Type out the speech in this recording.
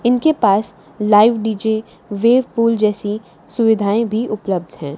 इनके पास live D J wave pool जैसी सुविधाएं भी उपलब्ध है।